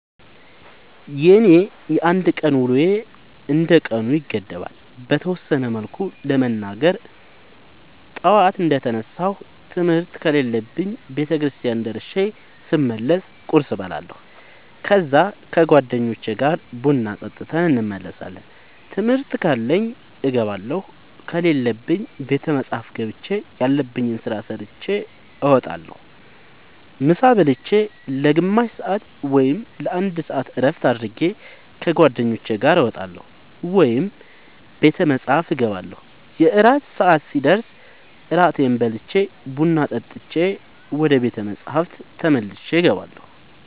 የኔ የአንድ ቀን ውሎዬ እንደ ቀኑ ይገደባል። በተወሰነ መልኩ ለመናገር ጠዋት እንደ ተነሳሁ ትምህርት ከሌለብኝ ቤተክርስቲያን ደርሼ ስመለስ ቁርስ እበላለሁ ከዛ ከ ጓደኞቼ ጋር ቡና ጠጥተን እንመለሳለን ትምህርት ካለብኝ እገባለሁ ከሌለብኝ ቤተ መፅሐፍ ገብቼ ያለብኝን ስራ ሰርቼ እወጣለሁ። ምሳ ብልቼ ለ ግማሽ ሰአት ወይም ለ አንድ ሰአት እረፍት አድርጌ ከ ጓደኞቼ ጋር እወጣለሁ ወይም ቤተ መፅሐፍ እገባለሁ። የእራት ሰአት ሲደርስ እራቴን በልቼ ቡና ጠጥቼ ወደ ቤተ መፅሐፍ ተመልሼ እገባለሁ።